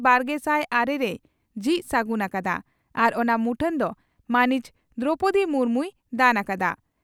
ᱵᱟᱨᱜᱮᱥᱟᱭ ᱟᱨᱮ ᱨᱮᱭ ᱡᱷᱤᱡ ᱥᱟᱹᱜᱩᱱ ᱟᱠᱟᱫᱼᱟ ᱟᱨ ᱚᱱᱟ ᱢᱩᱴᱷᱟᱹᱱ ᱫᱚ ᱢᱟᱹᱱᱤᱡ ᱫᱨᱚᱯᱚᱫᱤ ᱢᱩᱨᱢᱩᱭ ᱫᱟᱱ ᱟᱠᱟᱫᱼᱟ ᱾